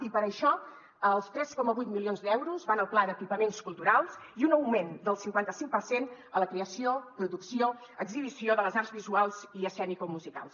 i per això els tres coma vuit milions d’euros van al pla d’equipaments culturals i un augment del cinquanta cinc per cent a la creació producció exhibició de les arts visuals i escenicomusicals